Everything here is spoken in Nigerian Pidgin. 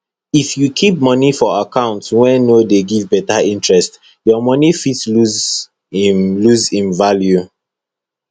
if you kip moni for account wey no dey give beta interest your moni fit lose im lose im value